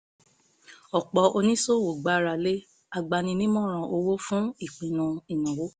ọ̀pọ̀ oníṣòwò ń gbára lé agbaninímọ̀ràn owó fún ìpinnu ináwó